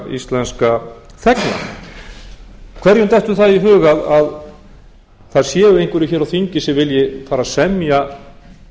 íslenska þegna hverjum dettur það í hug að það séu einhverjir hér á þingi sem vilja fara að semja